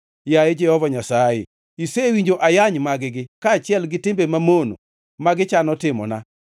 Yaye Jehova Nyasaye, isewinjo ayany mag-gi, kaachiel gi timbe mamono ma gichano timona,